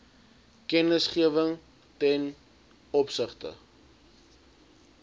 kennisgewing ten opsigte